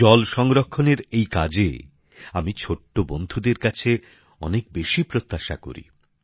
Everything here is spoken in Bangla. জল সংরক্ষণের এই কাজে আমি ছোট্ট বন্ধুদের কাছে অনেক বেশি প্রত্যাশা করি